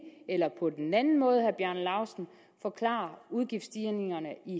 eller den anden måde forklare udgiftsstigningerne i